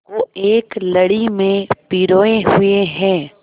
को एक लड़ी में पिरोए हुए हैं